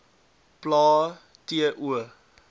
plae t o